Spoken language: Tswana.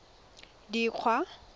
dikgwa